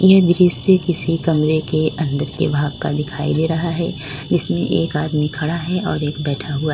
ये दृश्य किसी कमरे के अंदर के भाग का दिखाई दे रहा है इसमें एक आदमी खड़ा है और एक बैठा हुआ--